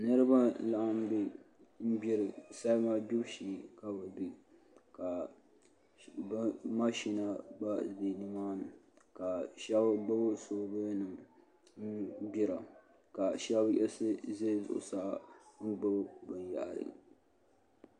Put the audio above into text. Niraba n laɣam bɛ salima gbibu shee ka Mashina gba bɛ nimaani shab gbubi soobul nim n gbira ka shab yiɣisi ʒɛ zuɣusaa n gbuni binyahari